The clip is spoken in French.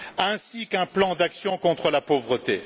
ainsi qu'un plan d'action contre la pauvreté.